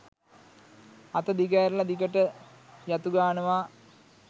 අත දිගෑරල දිගට යතු ගානවා.